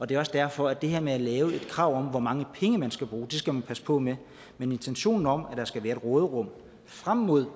det er også derfor det her med at lave et krav om hvor mange penge man skal bruge skal man passe på med men intentionen om at der skal være råderum frem mod